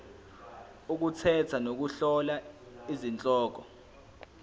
ukukhetha nokuhlola izihloko